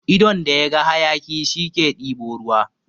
Idon da yaga hayaƙi, shi ke ɗebo ruwa.